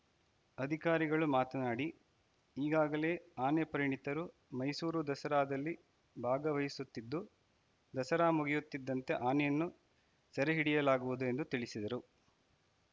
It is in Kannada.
ಅಧಿಕಾರಿಗಳು ಮಾತನಾಡಿ ಈಗಾಗಲೇ ಆನೆ ಪರಿಣಿತರು ಮೈಸೂರು ದಸರಾದಲ್ಲಿ ಭಾಗವಹಿಸುತ್ತಿದ್ದು ದಸರಾ ಮುಗಿಯುತ್ತಿದ್ದಂತೆ ಆನೆಯನ್ನು ಸೆರೆ ಹಿಡಿಯಲಾಗುವುದು ಎಂದು ತಿಳಿಸಿದರು